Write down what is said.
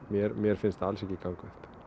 mér mér finnst það alls ekki ganga upp